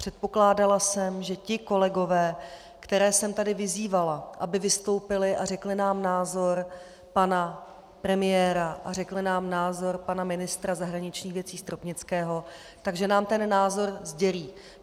Předpokládala jsem, že ti kolegové, které jsem tady vyzývala, aby vystoupili a řekli nám názor pana premiéra a řekli nám názor pana ministra zahraničních věcí Stropnického, že nám ten názor sdělí.